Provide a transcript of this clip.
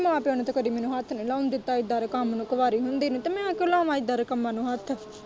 ਮੈਂ ਕਿਹਾ ਮਾਂ-ਪਿਓ ਨੇ ਕਦੀ ਮੈਨੂੰ ਹੱਥ ਨੀ ਲਾਉਣ ਦਿੱਤਾ ਇੱਦਾ ਦੇ ਕੰਮ ਨੂੰ ਕਵਾਰੀ ਹੁੰਦੀ ਨੇ ਤੇ ਮੈਂ ਕਿਉਂ ਲਾਵਾ ਇੱਦਾ ਦੇ ਕੰਮਾਂ ਨੂੰ ਹੱਥ।